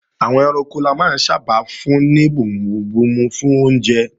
Àwọn ẹranko la máa ń sábà fún ní bomubomu fún oúnjẹ